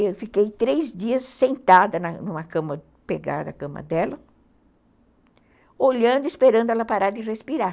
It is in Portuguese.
Eu fiquei três dias sentada numa cama, pegada a cama dela, olhando, esperando ela parar de respirar.